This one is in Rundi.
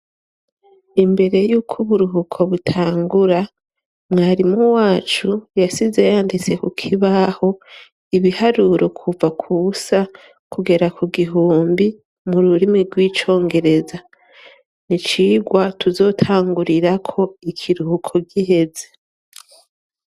Imbere yuko uburuhuko butangura mwarimu wacu yasize yanditse ku kibaho ibiharuro kuva kusa kugera ku gihumbi mu rurimi rw'icongereza ni cirwa tuzotangurirako ikiruhuko giheze.